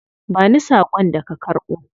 Ba ni sakon da ka karbo.